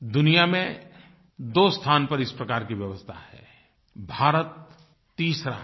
दुनिया में दो स्थान पर इस प्रकार की व्यवस्था है भारत तीसरा है